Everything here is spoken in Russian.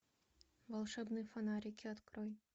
волшебные фонарики открой